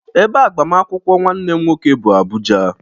Ebe agbamakwụkwọ nwanne m nwoke bụ Abuja.